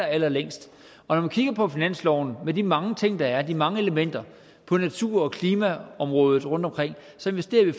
allerlængst og når vi kigger på finansloven med de mange ting der er de mange elementer på natur og klimaområdet rundtomkring så investerer vi